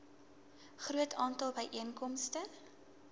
groot aantal byeenkomste